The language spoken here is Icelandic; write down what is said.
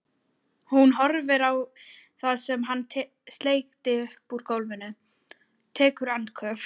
Hún horfir á það sem hann sleikti upp úr gólfinu, tekur andköf.